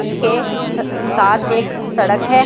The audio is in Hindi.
इसके स साथ एक सड़क हैं ।